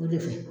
O de fɛ